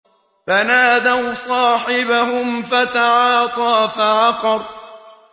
فَنَادَوْا صَاحِبَهُمْ فَتَعَاطَىٰ فَعَقَرَ